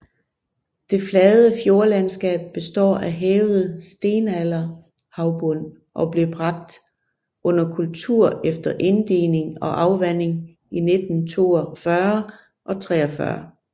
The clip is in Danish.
Det flade fjordlandskab består af hævet stenalderhavbund og blev bragt under kultur efter inddigning og afvanding i 1942 og 43